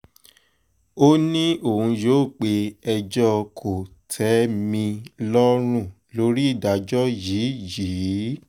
ó ní òun yóò pe ẹjọ́ kò-tẹ́-mi-lọ́rùn lórí ìdájọ́ yìí yìí